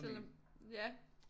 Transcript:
Selvom ja